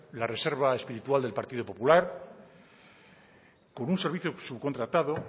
la reserva espiritual del partido popular con un servicio subcontratado